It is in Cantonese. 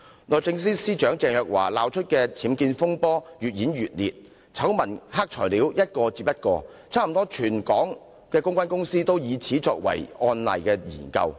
律政司司長鄭若驊鬧出的僭建風波越演越烈，醜聞、黑材料接連出現，差不多全港的公關公司皆以此作為案例研究。